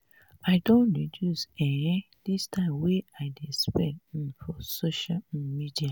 i don reduce um di time wey i dey spend um for social um media.